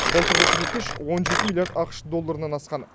былтырғы көрсеткіш он жеті миллиард ақш долларынан асқан